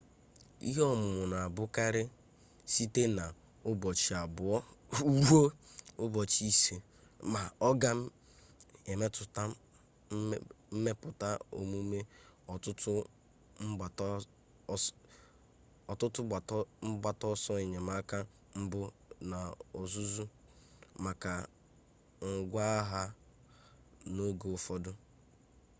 ihe ọmụmụ na-abụkarị site na ụbọchị abuo ruo ụbọchị ise ma ọ ga-emetụta mmepụta omume ọtụtụ mgbata ọsọ enyemaka mbụ na ọzụzụ maka ngwaagha n'oge ụfọdụ